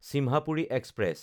Simhapuri express